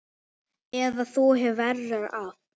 Eða þú hefur verra af